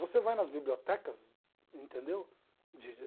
Você vai nas bibliotecas, entendeu? De